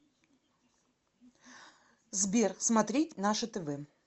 сбер смотреть наше тв